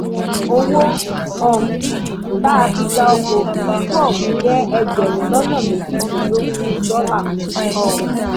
owó um tá a fi gba ọkọ òfúrufú ọhún jẹ ẹgbẹrún lọnà méjìdínlógún dọlà um